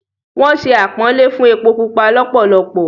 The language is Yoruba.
Wọ́n sé àpọ́nlé fún “ epo pupa” lọ́pọ̀lọpọ̀.